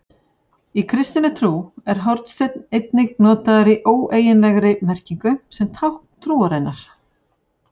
Í kristinni trú er hornsteinn einnig notaður í óeiginlegri merkingu sem tákn trúarinnar.